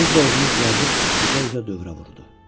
Tez də özünü düzəldib üzə-üzə dövrə vurudu.